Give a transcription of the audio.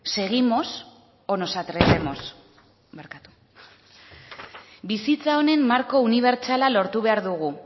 seguimos o nos atrevemos bizitza honen marko unibertsala lortu behar dugu